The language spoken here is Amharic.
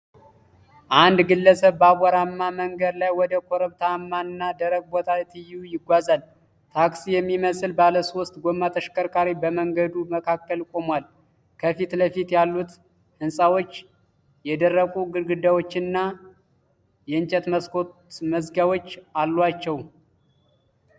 አንድ ግለሰብ በአቧራማ መንገድ ላይ ወደ ኮረብታማና ደረቅ ቦታ ትይዩ ይጓዛል። ታክሲ የሚመስል ባለሶስት ጎማ ተሽከርካሪ በመንገዱ መካከል ቆሟል። ከፊት ለፊት ያሉት ህንጻዎች የደረቁ ግድግዳዎችና የእንጨት መስኮት መዝጊያዎች አሏቸው።